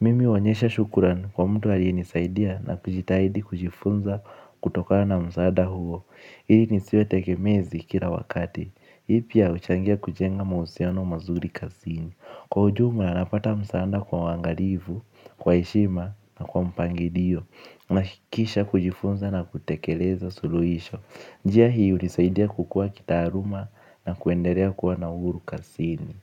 Mimi wanyesha shukurani kwa mtu aliye nisaidia na kujitahidi kujifunza kutokana na msaada huo. Ili nisiwe tekemezi kila wakati. Ipia uchangia kujenga mausiano mazuri kazini. Kwa ujuma napata msaada kwa huangalifu, kwa heshima na kwa mpangilio. Na kisha kujifunza na kutekeleza suluhisho. Njia hii unisaidia kukua kitaaruma na kuendelea kuwa na uhuru kazini.